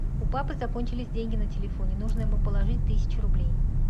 у папы закончились деньги на телефоне нужно ему положить тысячу рублей